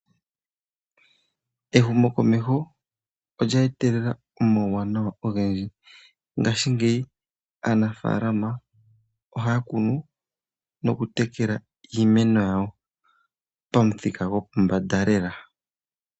Ehumo komeho olya etelela onauwanawa ogendji ngaashigeyi aanafaalama ohaya kunu nokutekela iimeno yawo pamuthika gopombanda Lela.